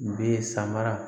Be samara